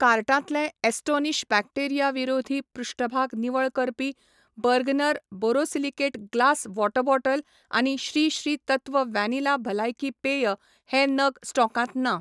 कार्टांतले astonish bacteria विरोधी पृष्ठभाग निवळ करपी, Bergner borosilicate glass water bottle आनी श्री श्री तत्व वॅनिला भलायकी पेय हे नग स्टॉकांत ना